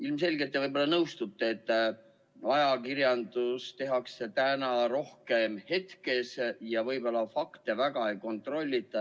Ilmselt te nõustute, et ajakirjandust tehakse täna rohkem hetke ajendil ja võib-olla fakte väga ei kontrollita.